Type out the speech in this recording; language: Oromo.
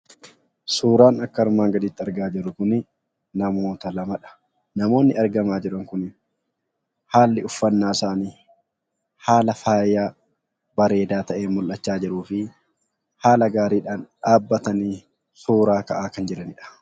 Suuraan akka armaan gadiitti argaa jirru Kunii , namoota lamaadha. Namoonni argamaa jiran Kun haalli uffannaa isaanii haala faayaa bareedaa ta'een mul'achaa jiruu fi haala gaariidhaan dhaabbatanii suuraa ka'aa kan jiranidha.